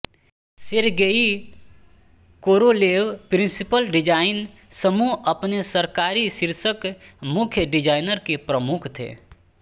Sergei Korolev principal design समूहअपने सरकारी शीर्षक मुख्य डिजाइनर के प्रमुख थे